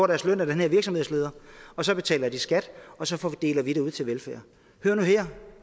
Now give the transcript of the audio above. deres løn af den her virksomhedsleder og så betaler de skat og så deler vi det ud til velfærd hør nu her